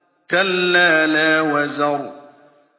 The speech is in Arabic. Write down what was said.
كَلَّا لَا وَزَرَ